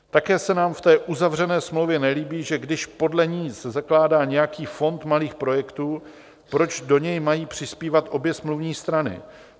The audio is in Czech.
Také se nám v té uzavřené smlouvě nelíbí, že když podle ní to zakládá nějaký Fond malých projektů, proč do něj mají přispívat obě smluvní strany?